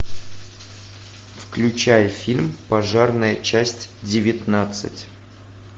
включай фильм пожарная часть девятнадцать